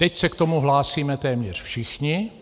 Teď se k tomu hlásíme téměř všichni.